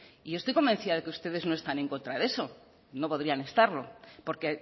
y yo estoy convencida de que ustedes no están en contra de eso no podrían estarlo porque